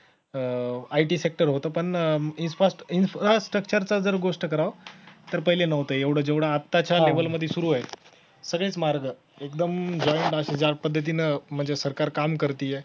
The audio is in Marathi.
अह IT sector होतं पण infrastructure चं जर गोष्ट करावं तर पहिले नव्हतं एवढं जेवढं आताच्या level मधी सुरु आहे सगळेच मार्ग एकदम joint असे ज्या पद्धतीनं म्हणजे सरकार काम करतीय